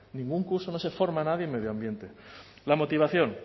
ningún curso no se forma a nadie en medio ambiente la motivación